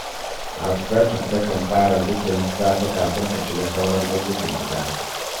Hafsatu takan fara zikirin safe kafin ta shiga sauran ayyukan gida